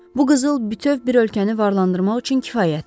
Bu qızıl bütöv bir ölkəni varlandırmaq üçün kifayətdir.